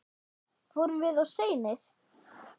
Vorum við of seinir?